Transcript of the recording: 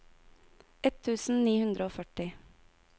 ett tusen ni hundre og førti